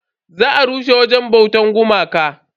Za a rushe wajen bautan gumakai.